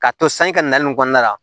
K'a to sanji ka nali kɔnɔna la